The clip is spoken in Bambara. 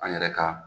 An yɛrɛ ka